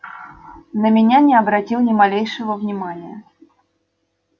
на меня не обратил ни малейшего внимания